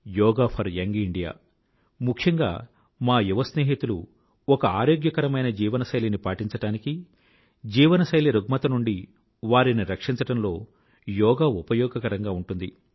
yoga for young India ముఖ్యంగా మా యువ స్నేహితులు ఒక ఆరోగ్యకరమైన జీవనశైలిని పాటించడానికి జీవనశైలి రుగ్మత నుండి వారిని రక్షించడంలో యోగా ఉపయోగకరంగా ఉంటుంది